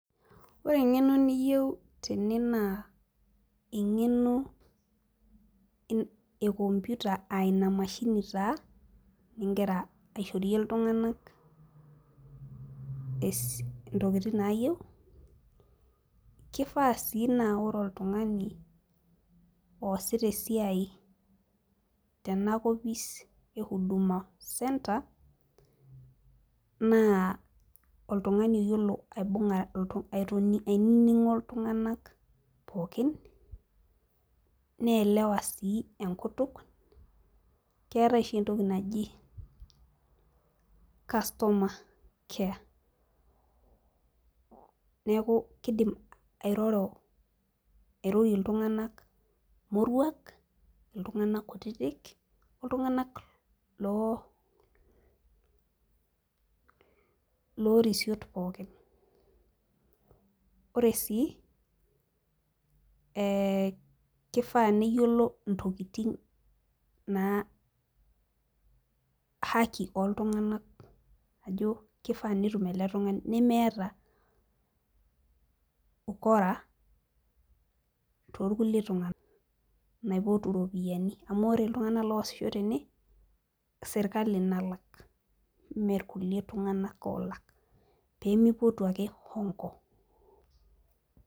Ore eng'eno niyieu tene naa eng'eno e computer aa Ina mashini taa, igira aishorie iltunganak intokitin naayieu, kifaa sii naa ore oltungani oosita esiai tena kopis e huduma centre, naa oltungani oyiolo ainining'o iltunganak pookin, neelewa sii enkutuk. keetae oshi entoki naji, customer care neeku kidim airorie iltunganak, moruak. iltunganak kutitik, oltunganak loo risiot pookin. ore sii kifaa neyiolo ntokitin naa haki ooltunganak ajo nemeeta ukora toorkulie tunganak naa ore. Iltunganak oosisho tene naa sirkali olak, ime kulie tunganak oolak, pee mipotu ake hongo